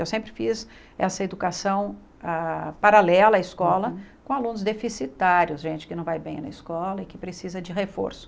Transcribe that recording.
Eu sempre fiz essa educação ah paralela à escola com alunos deficitários, gente que não vai bem na escola e que precisa de reforço.